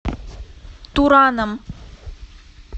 тураном